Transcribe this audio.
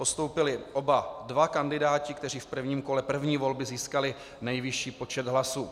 Postoupili oba dva kandidáti, kteří v prvním kole první volby získali nejvyšší počet hlasů.